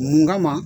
Mun kama